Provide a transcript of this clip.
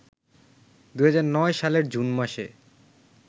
২০০৯ সালের জুন মাসে